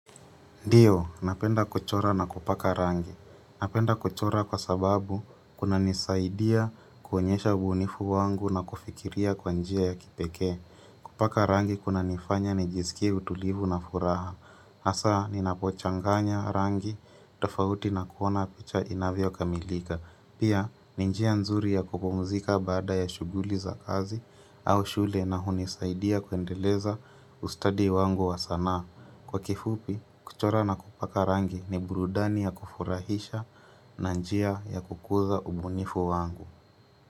Ndio, napenda kuchora na kupaka rangi. Napenda kuchora kwa sababu kuna nisaidia kuonyesha ubunifu wangu na kufikiria kwa njia ya kipeke. Kupaka rangi kunanifanya nijiskie utulivu na furaha. Hasa, ninapochanganya rangi tofauti na kuona picha inavyokamilika. Pia, ni njia nzuri ya kupumzika baada ya shughuli za kazi au shule na hunisaidia kuendeleza ustadi wangu wa sanaa. Na kwa kifupi, kuchora na kupaka rangi ni burudani ya kufurahisha na njia ya kukuza ubunifu wangu.